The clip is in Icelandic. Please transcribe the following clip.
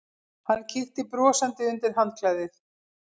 Hann kíkti brosandi undir handklæðið.